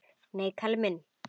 Nei, Kalli minn.